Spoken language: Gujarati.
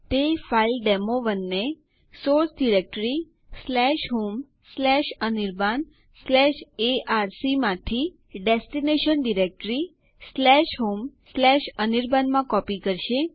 તે થયા બાદ adduser160 only one or two names allowed સંદેશ પ્રદર્શિત થાય છે